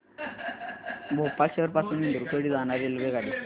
भोपाळ शहर पासून इंदूर कडे जाणारी रेल्वेगाडी